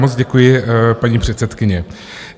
Moc děkuji, paní předsedkyně.